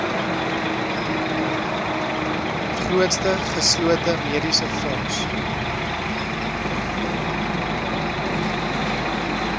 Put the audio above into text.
grootste geslote mediesefonds